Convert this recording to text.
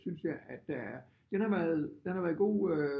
Synes jeg at der er den har været den har været god øh